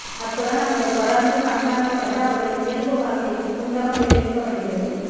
அத்துடன் அவர்கள் தொடர்ந்தும் கண்காணிக்கப்பட்டு அவர்களின் இயல்பு வாழ்க்கைக்கு குந்தகம் விளைவிக்கப்படுகிறது